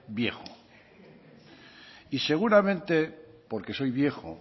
viejo y seguramente porque soy viejo